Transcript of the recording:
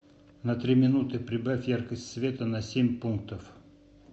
на три минуты прибавь яркость света на семь пунктов